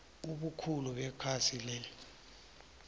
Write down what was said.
ebukhulu bekhasi lea